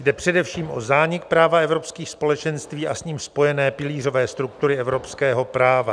Jde především o zánik práva evropských společenství a s ním spojené pilířové struktury evropského práva.